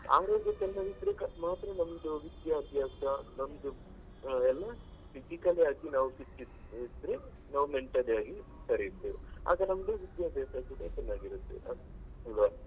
ಆರೋಗ್ಯ ಚೆನ್ನಾಗಿದ್ರೆ ಈಗ ಮಾತ್ರ ನಮ್ದು ವಿದ್ಯಾಭ್ಯಾಸ ನಮ್ದು ಎಲ್ಲ physically ಆಗಿ ನಾವು fit ಇದ್ರೆ ನಾವು mentally ಆಗಿ ಸರಿ ಇರ್ತೇವೆ ಆಗ ನಮ್ದು ವಿದ್ಯಾಭ್ಯಾಸ ಕೂಡ ಚೆನ್ನಾಗಿರುತ್ತೆ ಹೌದಾ.